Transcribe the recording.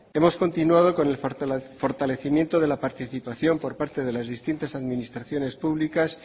hemos continuado con el fortalecimiento de la participación por parte de las distintas administraciones públicas